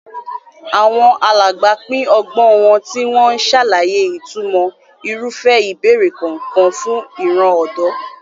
Àwọn alàgbà pín ọgbọ́n wọn, tí wọ́n ń ṣàlàyé ìtumọ̀ irúfẹ́ ìbẹ̀rẹ̀ kọ̀ọ̀kan fún ìran ọ̀dọ́.